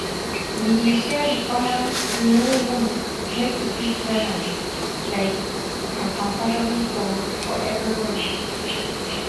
we dey share di common um room make e fit balance um and comfortable for for everybody.